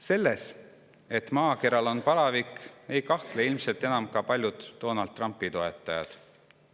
Selles, et maakeral on palavik, ei kahtle ilmselt enam ka paljud Donald Trumpi toetajad.